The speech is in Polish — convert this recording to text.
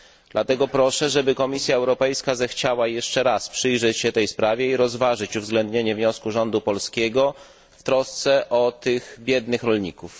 Dlatego proszę, żeby Komisja Europejska zechciała jeszcze raz przyjrzeć się tej sprawie i rozważyć uwzględnienie wniosku rządu polskiego w trosce o biednych rolników.